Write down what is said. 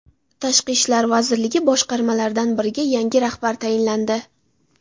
Tashqi ishlar vazirligi boshqarmalaridan biriga yangi rahbar tayinlandi.